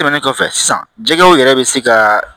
Tɛmɛnen kɔfɛ sisan jɛgɛw yɛrɛ bɛ se ka